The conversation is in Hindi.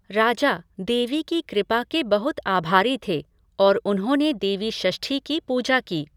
राजा, देवी की कृपा के बहुत आभारी थे और उन्होंने देवी षष्ठी की पूजा की।